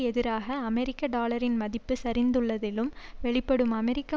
எதிராக அமெரிக்க டாலரின் மதிப்பு சரிந்துள்ளதிலும் வெளிப்படும் அமெரிக்க